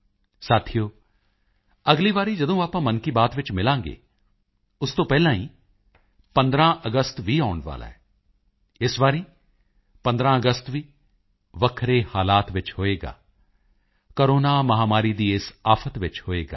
ਸਾਥੀਓ ਅਗਲੀ ਵਾਰੀ ਜਦੋਂ ਆਪਾਂ ਮਨ ਕੀ ਬਾਤ ਵਿੱਚ ਮਿਲਾਂਗੇ ਉਸ ਤੋਂ ਪਹਿਲਾਂ ਹੀ 15 ਅਗਸਤ ਵੀ ਆਉਣ ਵਾਲਾ ਹੈ ਇਸ ਵਾਰੀ 15 ਅਗਸਤ ਵੀ ਵੱਖਰੇ ਹਾਲਾਤ ਵਿੱਚ ਹੋਵੇਗਾ ਕੋਰੋਨਾ ਮਹਾਮਾਰੀ ਦੀ ਇਸ ਆਫ਼ਤ ਵਿੱਚ ਹੋਵੇਗਾ